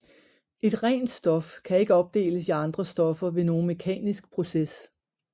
Et rent stof kan ikke opdeles i andre stoffer ved nogen mekanisk proces